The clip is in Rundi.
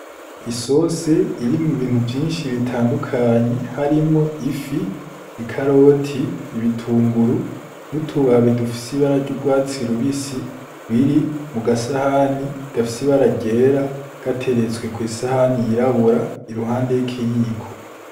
Isose irimwo ibintu vyinshi bitandukanyi harimwo ifi i karoti ibitunguru nutubaba idufisi bararyaurwatsi rubisi biri mu gasahani gafsi baragera gateretswe kw'isahani yirabura iruhande y'ikiyiko.